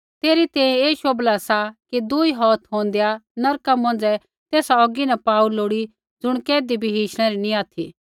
तेरै तैंईंयैं ऐ शोभला सा कि दुई हौथ होंदै नरका मौंझ़ै तेसा औगी न पाऊ लोड़ी ज़ुण कैधी भी हिशणै री नी ऑथि